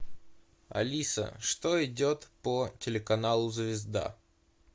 алиса что идет по телеканалу звезда